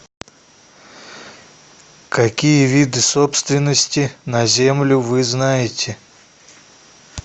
какие виды собственности на землю вы знаете